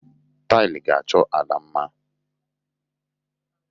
Taịlị ga-achọ ala mma.